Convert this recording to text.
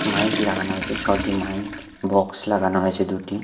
Mic লাগানো হয়েছে ছটি মাইক বক্স লাগানো হয়েছে দুটি।